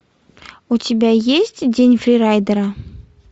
у тебя есть день фрирайдера